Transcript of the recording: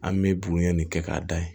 An bɛ bugurunya nin kɛ k'a da yen